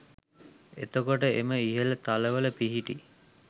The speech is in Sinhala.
එතකොට, එම ඉහළ තලවල පිහිටි